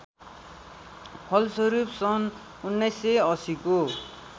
फलस्वरूप सन् १९८० को